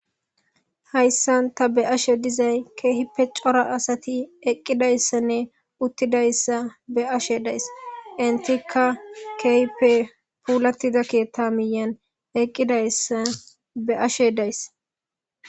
Hayssan ta be ashe dizay keehipe cora asati eqqidayssanne uttidayssa be ashe dayss intika keehpe puulattida keethta miyan eqqidayssa be7ashe dayssa.